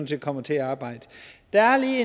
set kommer til at arbejde jeg har lige